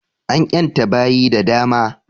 An ƴanta baƴi da dama